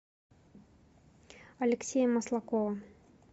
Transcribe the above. алексея маслакова